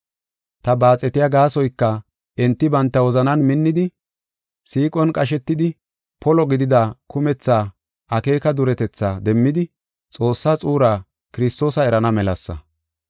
Ta baaxetiya gaasoyka enti banta wozanan minnidi, siiqon qashetidi, polo gidida kumetha akeeka duretetha demmidi Xoossaa xuuraa Kiristoosa erana melasa.